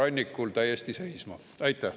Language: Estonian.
Aitäh!